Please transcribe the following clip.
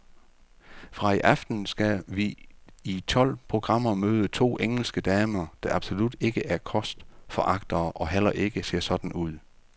Fra i aften skal vi i tolv programmer møde to engelske damer, der absolut ikke er kostforagtere og heller ikke ser sådan ud.